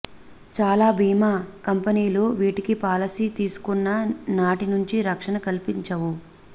చాలా బీమా కంపెనీలు వీటికి పాలసీ తీసుకున్న నాటి నుంచి రక్షణ కల్పించవు